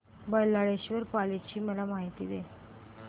बल्लाळेश्वर पाली ची मला माहिती दे